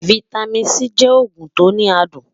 fìtámín C jẹ ògùn tó ní àdùn